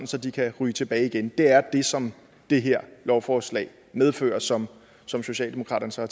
så de kan ryge tilbage igen det er det som det her lovforslag medfører som som socialdemokraterne så